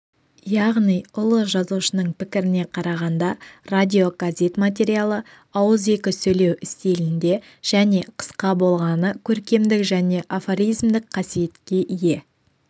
яғни ұлы жазушының пікіріне қарағанда радиогазет материалы ауызекі сөйлеу стилінде және қыска болғаны көркемдік және афоризмдік қасиетке ие